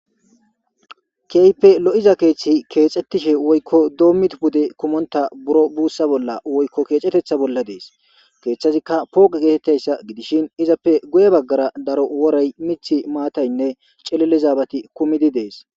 Keype lo'iza keeththi keexxettishe woykko doommid bude kumonta buro buussa bolla woykko keexetetha bolla dees keeththazikka pooqe geetettayssa gidishin izappe guye baggara daro worey mithi maataynne celili zaabati kumidi dees